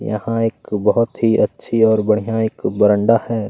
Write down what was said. यहाँ एक बहोत ही अच्छी और बढ़िया एक बरांडा है।